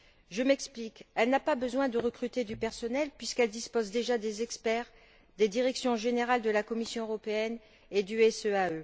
Je m'explique elle n'a pas besoin de recruter du personnel, puisqu'elle dispose déjà des experts des directions générales de la Commission européenne et du SEAE.